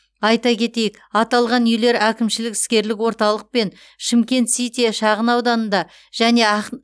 айта кетейік аталған үйлер әкімшілік іскерлік орталық пен шымкент сити шағынауданында және ақ